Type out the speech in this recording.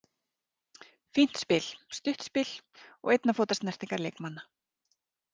Fínt spil, stutt spil og einna fóta snertingar leikmanna.